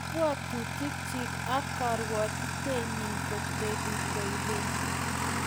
kabwotutikchich ak karwatenyin kotebiei koikeny